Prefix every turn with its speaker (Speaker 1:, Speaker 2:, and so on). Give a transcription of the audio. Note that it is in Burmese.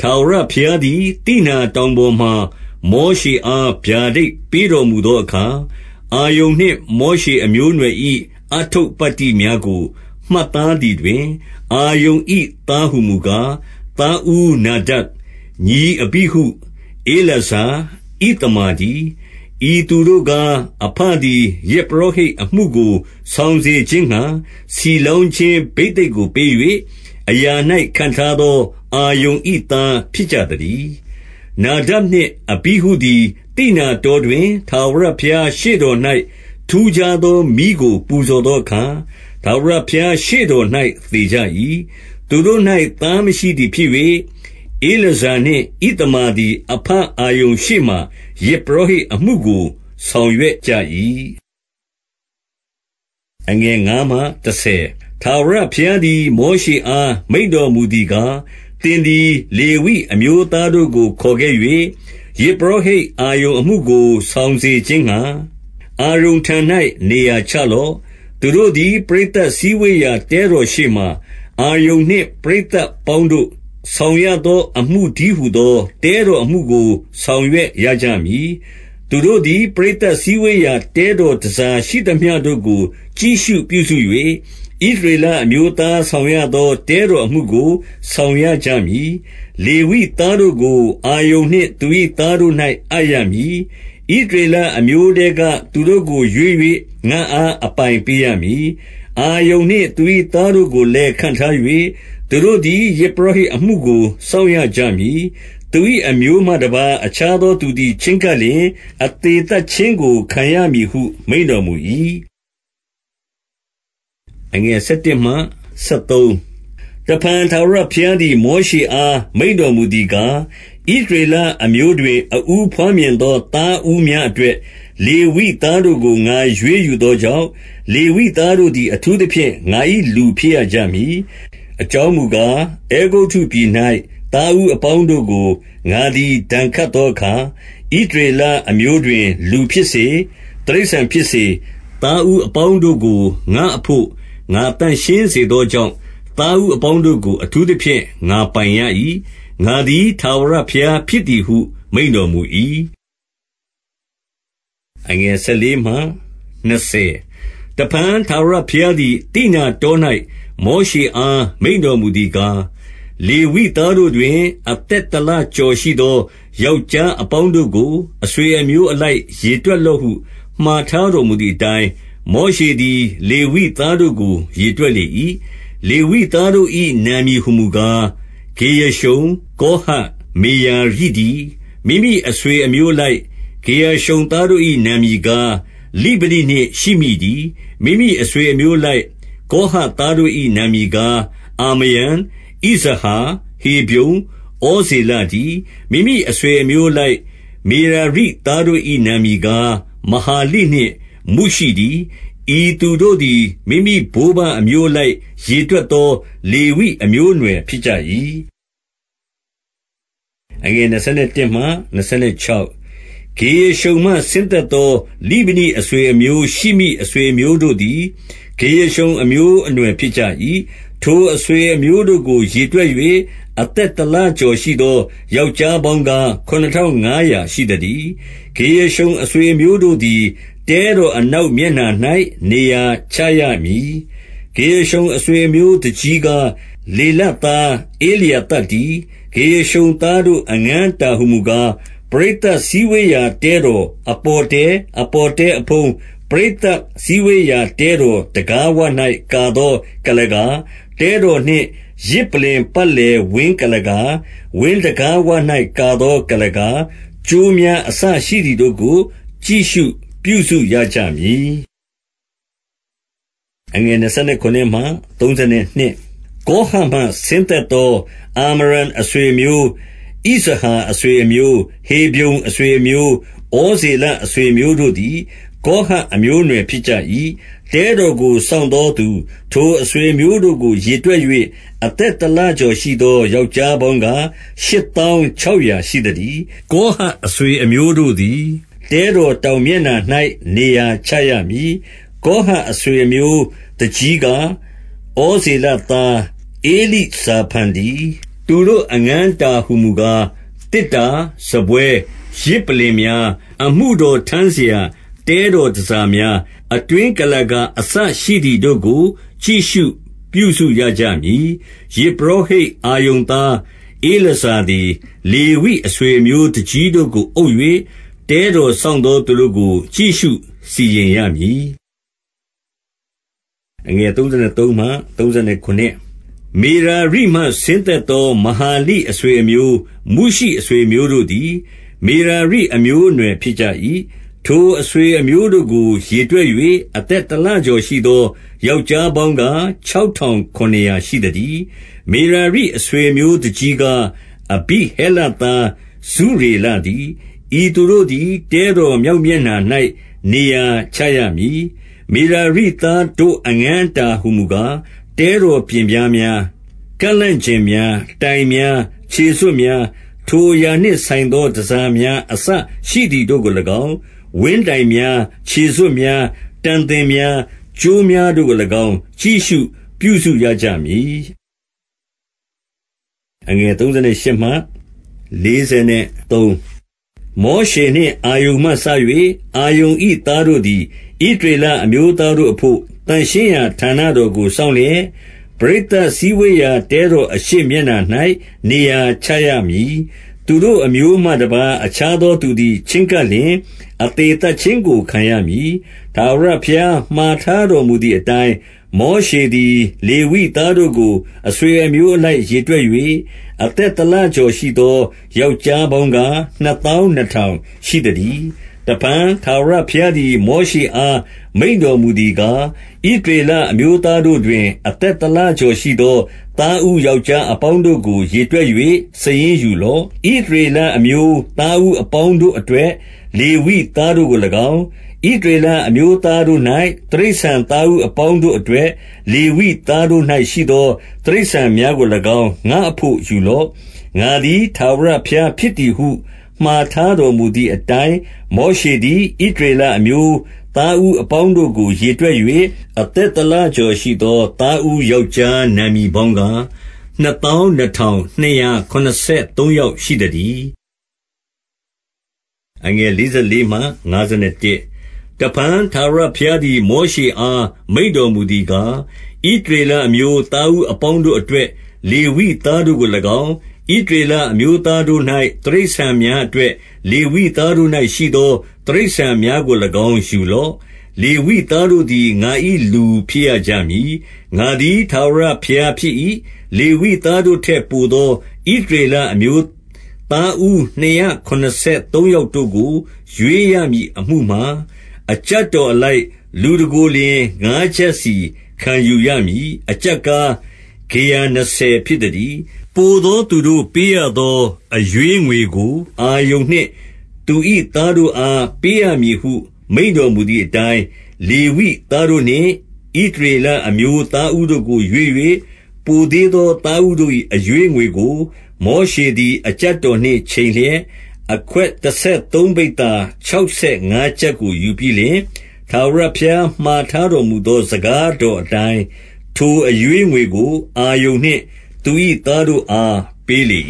Speaker 1: ထာဝရဘုရားသည် သိနာတောင်ပေါ်မှာ မောရှအား ဗျာဒိတ်ပေးတော်မူသောအခါ၊ အာရုန်နှင့် မောရှေအမျိုးအနွယ်၏ အတ္ထုပ္ပတ္တိများကို မှတ်သားသည်တွင်၊ 2 အာရုန်၏သားဟူမူကား၊ သားဦးနာဒပ်၊ ညီအဘိ ဟု၊ ဧလာဇာ၊ ဣသမာတည်း။ 3 ဤသူတို့ကား၊ အဘသည် ယဇ်ပုရောဟိတ်အမှု ကို ဆောင်စေခြင်းငှါ ဆီလောင်းခြင်းဘိသိက်ကို ပေး၍ အရာ၌ခန့်ထားသော အာရုန်၏ သားဖြစ်ကြသတည်း။ 4 နာဒပ်နှင့်အဘိဟုသည်၊ သိနာတောတွင် ထာဝရ ဘုရားရှေ့တော်၌ ထူးခြားသောမီးကို ပူဇော်သောအခါ ထာဝရဘုရားရှေ့တော်၌ သေကြ၏။ သူတို့၌ သားမရှိ သည်ဖြစ်၍၊ ဧလာဇာနှင့် ဣသမာသည်၊ အဘအာရုန် ရှေ့မှာ ယဇ်ပုရောဟိတ်အမှုကို ဆောင်ရွက်ကြ၏။ 5 ထာဝရဘုရားသည် မောရှေအား မိန့်တော်မူ သည်ကား၊ 6 သင်သည် လေဝိအမျိုးသားတို့ကို ခေါ်ခဲ့၍ ယဇ်ပုရောဟိတ် အာရုန်အမှုကို ဆောင်စေခြင်းငှါ၊ အာရုန်ထံ၌ နေရာချလော့။ 7 သူတို့သည် ပရိသတ်စည်းဝေးရာ တဲတော်ရှေ့ မှာ၊ အာရုန်နှင့် ပရိသတ်အပေါင်းတို့ ဆောင်ရသော အမှု တည်းဟူသော တဲတော်အမှုကို ဆောင်ရွက်ရကြမည်။ 8 သူတို့သည် ပရိသတ်စည်းဝေးရာ တဲတော် တန်ဆာရှိသမျှတို့ကို ကြည့်ရှုပြုစု၍၊ ဣသရေလအမျိုး သားဆောင်ရသော တဲတော်အမှုကို ဆောင်ရကြမည်။ 9 လေဝိသားတို့ကို၊ အာရုန်နှင့် သူ၏သားတို့၌ အပ်ရမည်။ ဣသရေလအမျိုးထဲက သူတို့ကိုရွေး၍ ငါ့အား အပိုင်ပေးရမည်။ 10 အာရုန်နှင့် သူ၏သားတို့ကိုလည်း ခန့်ထား၏။ သူတို့သည် ယဇ်ပုရောဟိတ်အမှုကို စောင့်ရကြမည်။ သူ၏အမျိုးမှ တပါးအခြားသောသူသည် ချဉ်းကပ်လျှင် အသေသတ်ခြင်းကို ခံရမည်ဟု မိန့်တော်မူ၏။ 11 တဖန် ထာဝရဘုရားသည် မောရှေအား မိန့် တော်မူသည်ကား၊ 12 ဣသရေလအမျိုးတွင် အဦးဘွားမြင်သော သားဦးများအတွက် လေပိသားတို့ကို ငါရွေးယူသော ကြောင့်၊ လေဝိသားတို့သည် အထူးသဖြင့် ငါ၏လူဖြစ်ရ ကြမည်။ 13 အကြော်းမူကား အဲဂုတ္တုပြည်၌ သားဦးအပေါင်း တို့ကို ငါသည် ဒဏ်ခတ်သောအခါ ဣသရေလအမျိုးတွင် လူဖြစ်စေ၊ တိရစ္ဆာန်ဖြစ်စေ သားဦးအပေါင်းတို့ကို ငါအဖို့ ငါသန့်ရှင်းစေသောကြောင့် သားဦးအပေါ်တို့ကို အထူး သဖြင့် ငါပိုင်ရ၏။ ငါသည် ထာဝရဘုရားဖြစ်သည်ဟု မိန့်တော်မူ၏။ 14 တဖန်ထာဝရဘုရားသည်၊ သိနာတော၌ မောရှေအား မိန့်တော်မူသည်ကား၊ 15 လေဝိသားတို့တွင် အသက်တလကျော်ရှိသော ယောက်ျားအပေါင်းတို့ကို အဆွေအမျိုးအလိုက် ရေတွက် လော့ဟု၊ 16 မှာထားတော်မူသည်အတိုင်း၊ မောရှေသည် လေဝိသားတို့ကို ရေတွက်လေ၏။ 17 လေဝိသားတို့၏ နာမည်ဟူမူကား၊ ဂေရရှုန်၊ ကောဟတ်၊ မေရာရိတည်း။ 18 မိမိအဆွေအမျိုးအလိုက် ဂေရရှုန်သားတို့၏ အမည်ကား လိဗနိနှင့်ရှိမိတည်း။ 19 မိမိအဆွေအမျိုးအလိုက် ကောဟတ်သားတို့၏ နာမည်ကား၊ အာမရံ၊ ဣဇဟာ၊ ဟေဗြုန်၊ ဩဇေလတည်း။ 20 မိမိအဆွေအမျိုးအလိုက် မေရာရိသားတို့၏ နာမည်ကား မဟာလိနှင့် မုရှိတည်း၊ ဤသူတို့သည် မိမိ ဘိုးဘေးအမျိုးအလိုက် ရေတွက်သော လေဝိအမျိုးအနွယ် ဖြစ်ဖြစ်ကြ၏။ 21 ဂေရရှုန်မှဆင်းသက်လာသော လိဗနိအဆွေ အမျိုး ရှိမိအဆွေ အမျိုးတို့သည် ဂေရရှုန် အမျိုးအနွယ် ဖြစ်ကြ၏၊ 22 ထိုအဆွေအမျိုးတို့ကို ရေတွက်၍ အသက် တလကျော်ရှိသော ယောက်ျားပေါင်းကား၊ ခုနစ်ထောင် ငါးရာ ရှိသတည်း။ 23 ဂေရရှုန်အဆွေအမျိုးတို့သည် တဲတော်အ နောက်မျက်နှာ၌ နေရာချရမည်။ 24 ဂေရရှုန်အဆွေအမျိုး၊ သူကြီးကား၊ လေလသား ဧလျာသပ်တည်း။ 25 ဂေရရှုန်သားတို့ အငန်းအတာဟူမူကား၊ ပရိသတ်စည်းဝေးရာ တဲတော်အပေါ်တဲ၊ အပေါ်တဲအဖုံး၊ ပရိသတ်စည်းဝေးရာတဲတော်တံခါးဝ၌ ကာသော ကုလားကာ၊ 26 တဲတော်နှင့် ယဇ်ပလ္လင်ပတ်လည်ဝင်း ကုလား ကာ၊ ဝင်းတံခါးဝ၌ ကာသောကုလားကာ၊ ကြိုးများ အစရှိသည်တို့ကို ကြည့်ရှုပြုစုရကြမည်။ 27 ကောဟတ်မှဆင်းသက်သော အာမရံအဆွေ အမျိုး၊ ဣဇဟာအဆွေအမျိုး၊ ဟေဗြုန်အဆွေအမျိုး၊ ဩဇေလ အဆွေအမျိုး တို့သည်၊ ကောဟတ်အမျိုး အနွှယ် ဖြစ်ကြ၏။ 28 တဲတော်ကို စောင့်သောသူ၊ ထိုအဆွေအမျိုးတို့ကို ရေတွက်၍ အသက်တလကျော်ရှိသော ယောက်ျားပေါင်း ကား၊ ရှစ်သောင်းခြောက်ရာ ရှိသတည်း။ 29 ကောဟတ်အဆွေအမျိုးတို့သည်၊ တဲတော် တောင်မျက်နှာ၌ နေရာချရမည်။ 30 ကောဟတ်အဆွေအမျိုးသူကြီးကား၊ ဩဇေလ သား ဧလိဇာဖန်တည်း။ 31 သူတို့အငန်းအတာဟူမူကား၊ သေတ္တာ၊ စားပွဲ ယဇ်ပလ္လင်များ၊ အမှုတော်ထမ်းစရာ တဲတော်တန်ဆာ များ၊ အတွင်းကုလားကာ အစရှိသည်တို့ကို ကြည့်ရှုရကြ မည်။ 32 ယဇ်ပုရောဟိတ်အာရုန်သား ဧလာဇာသည် လေဝိအဆွေအမျိုး သူကြီးတို့ကို အုပ်၍ တဲတော်စောင့် သော သူတို့ကို ကြည့်ရှုစီရင်ရမည်။ 33 မေရာရိမှ ဆင်းသက်သော မဟာလိအဆွေအမျိုး၊ မုရှိအဆွေအမျိုးတို့သည်၊ မေရာရိ အမျိုးအနွယ် ဖြစ်ကြ၏။ 34 ထိုအဆွေအမျိုးတို့ကို ရေတွက်၍ အသက်တလကျော်ရှိသော ယောက်ျားပေါင်းကား၊ ခြောက်ထောင် ခုနစ်ရာ ရှိသတည်း။ 35 မေရာရိအဆွေအမျိုးသူကြီးကား၊ အဘိဟဲလသား ဇုရေလတည်း။ ဤသူတို့သည် တဲတော်မြောက် မျက်နှာ၌ နေရာချရမည်။ 36 မေရာရိသားတို့ အငန်းအတာဟူမူကား၊ တဲ တော်ပျဉ်ပြားများ ကန့်လန့်ကျင့်များ၊ တိုင်များ၊ ခြေစွပ် များ၊ ထိုအရာနှင့်ဆိုင်သော တန်ဆာများ အစရှိသည်တို့ကို၎င်း၊ ဝင်းတိုင်များ၊ 37 ခြေစွပ်များ၊ တံသင်များ၊ ကြိုးများတို့ကို၎င်း ကြည့်ရှုပြုစုကြရမည်။ 38 မောရှေနှင့် အာရုန်မှစ၍ အာရုန်၏ သားတို့ သည် ဣသရေလအမျိုးသားတို့အဘို့၊ သန့်ရှင်းရာဌာန တော်ကို စောင့်လျက်၊ ပရိသတ်စည်းဝေးရာတဲတော် အရှေ့မျက်နှာ၌ နေရာချရမည်။ သူတို့အမျိုးမှတပါး၊ အခြားသောသူသည် ချဉ်းကပ်လျှင် အသေသတ်ခြင်းကို ခံရမည်။ 39 ထာဝရဘုရား မှာထားတော်မူသည်အတိုင်း၊ မောရှေသည် လေဝိသားတို့ကို အဆွေအမျိုးအလိုက် ရေတွက်၍ အသက်တလကျော်ရှိသော ယောက်ျား အပေါင်းကား၊ နှစ်သောင်းနှစ်ထောင် ရှိသတည်း။ 40 တဖန် ထာဝရဘုရားသည် မောရှေအား မိန့် တော်မူသည်ကား၊ ဣသရေလအမျိုးသားတို့တွင်၊ အသက် တလကျော်ရှိသော သားဦးယောက်ျားအပေါင်းတို့ကို ရေတွက်၍ စာရင်းယူလော့။ 41 ဣသရေလအမျိုး သားဦးအပေါင်းတို့အတွက် လေဝိသားတို့ကို၎င်း၊ ဣသရေလအမျိုးသားတို့၌ တိရစ္ဆာန်သားဦးအပေါင်း တို့အတွက် လေဝိသား တို့၌ ရှိသော တိရစ္ဆာန်များကို၎င်း၊ ငါ့အဘို့ယူလော့။ ငါသည် ထာဝရဘုရားဖြစ်သည်ဟု၊ 42 မှာထားတော်မူသည်အတိုင်း မောရှေသည် ဣသရေလအမျိုး သားဦးအပေါင်းတို့ကို ရေတွက်၍၊ 43 အသက်တလကျော်ရှိသော သားဦးယောက်ျားနာမည်ပေါင်းကား၊ နှစ်သောင်း နှစ်ထောင်နှစ်ရာ ခုနစ်ဆယ်သုံးယောက် ရှိသတည်း။ 44 တဖန် ထာဝရဘုရားသည် မောရှေအား မိန့်တော်မူသည်ကား၊ 45 ဣသရေလအမျိုး သားဦးအပေါင်းတို့အတွက် လေဝိသားတို့ကို၎င်း၊ ဣသရေလအမျိုးသားတို့၌ တိရစ္ဆာန် များအတွက် လေဝိသားတို့၌ရှိသော တိရစ္ဆာန် များကို၎င်း ယူလော့။ လေဝိသားတို့သည် ငါ၏ လူဖြစ်ရကြမည်။ ငါသည် ထာဝရဘုရား ဖြစ်၏။ 46 လေဝိသားတို့ထက်ပိုသော ဣသရေလအမျိုး သားဦး နှစ်ရာခုနစ်ဆယ်သုံးယောက်တို့ကို ရွေးရမည်အမှု မှာ၊ 47 အကျပ်တော်အလိုက် လူတကိုယ်လျှင် ငါးကျပ်စီ ခံယူရမည်။ အကျပ်ကား၊ ဂေရနှစ်ဆယ်ဖြစ်သတည်း။ 48 ပိုသောသူတို့ပေးရသော အရွေးငွေကို၊ အာရုန် နှင့် သူ၏သားတို့အား ပေးရမည်ဟု မိန့်တော်မူသည် အတိုင်း၊ 49 လေဝိသားတို့နှင့် ဣသရေလအမျိုး သားဦးတို့ ကို ရွေး၍ ပိုသေးသော သားဦးတို့၏ အရွေးငွေကို၊ 50 မောရှေသည် အကျပ်တော်နှင့်ချိန်လျက်၊ အခွက် တဆယ်သုံးပိဿာခြောက်ဆယ်ငါးကျပ်ကိုယူ ပြီးလျှင်၊ 51 ထာဝရဘုရားမှာထားတော်မူသော စကားတော်အတိုင်း ထိုအရွေးငွေကို အာရုန်နှင့် သူ၏သားတို့အား ပေးလေ